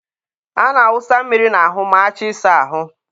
a na-awụsa mmiri n'ahụ ma achọ ịsa ahụ.